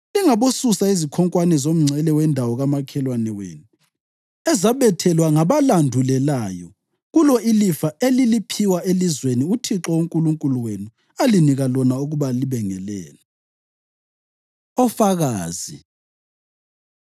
Lingabosusa izikhonkwane zomngcele wendawo kamakhelwane wenu ezabethelwa ngabalandulelayo kulo ilifa eliliphiwa elizweni uThixo uNkulunkulu wenu alinika lona ukuba libe ngelenu.” Ofakazi